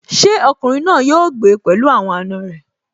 Ṣé ọkùnrin náà yóò gbé pẹ̀lú àwọn àna rẹ̀?